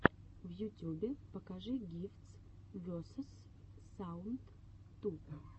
в ютюбе покажи гифтс весос саунд ту